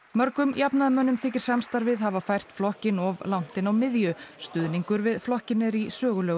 mörgum jafnaðarmönnum þykir samstarfið hafa fært flokkinn of langt inn á miðju stuðningur við flokkinn er í sögulegu